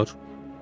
Olar.